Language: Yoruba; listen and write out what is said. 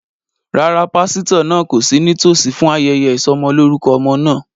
Rárá, pásítọ̀ náà kò sí nítòsí fún ayẹyẹ ìsọmọlorúkọ ọmọ náà